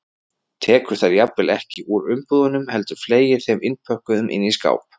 Tekur þær jafnvel ekki úr umbúðunum heldur fleygir þeim innpökkuðum inn í skáp.